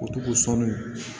O tugu sɔni